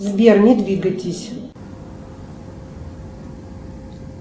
сбер не двигайтесь